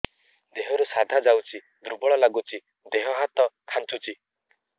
ଦେହରୁ ସାଧା ଯାଉଚି ଦୁର୍ବଳ ଲାଗୁଚି ଦେହ ହାତ ଖାନ୍ଚୁଚି